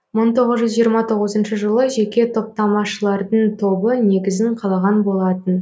мың тоғыз жүз жиырма тоғызыншы жылы жеке топтамашылардың тобы негізін қалаған болатын